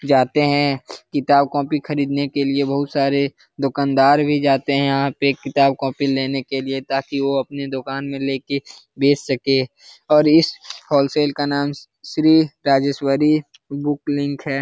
जाते है किताब कॉपी खरीदने के लिए बहुत सारे दुकानदार भी जाते है यहाँ पे किताब कॉपी लेने के लिए ताकि वो अपनी दुकान में लेके बेच सके और इस होलसेल का नाम श्री राजेश्वरी बुक लिंक हे ।